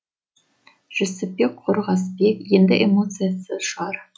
жүсіпбек қорғасбек енді эмоциясы шығар